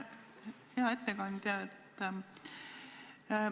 Hea ettekandja!